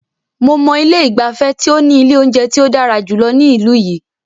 Mo mọ ilé ìgbafẹ́ tí o ní ilé oúnjẹ tí o dára jùlọ ní ìlú yìí.